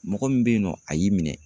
Mɔgɔ min bɛ yen nɔ a y'i minɛ.